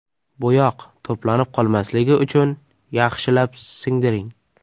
Bo‘yoq to‘planib qolmasligi uchun yaxshilab singdiring.